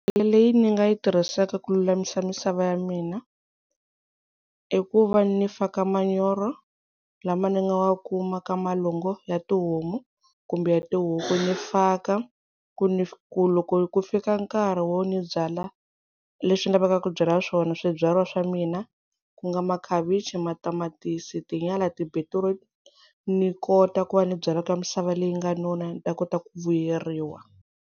Leyi ni nga yi tirhisaka ku lulamisa misava ya mina i ku va ni faka manyoro lama ni nga wa kuma ka malango ya tihomu kumbe ya tihuku ni faka ku ni ku loko ku fika nkarhi wo ni byalwa leswi lavekaka ku byala swona swibyala swa mina ku nga makhavichi, matamatisi, tinyala, ti-beetroot ni kota ku va ni byalwa ka misava leyi nga nona ni ta kota ku vuyeriwa.